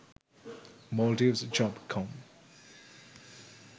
maldives job com